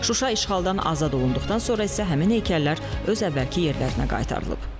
Şuşa işğaldan azad olunduqdan sonra isə həmin heykəllər öz əvvəlki yerlərinə qaytarılıb.